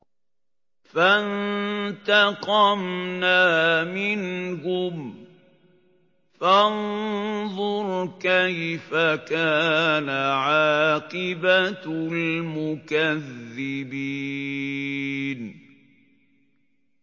فَانتَقَمْنَا مِنْهُمْ ۖ فَانظُرْ كَيْفَ كَانَ عَاقِبَةُ الْمُكَذِّبِينَ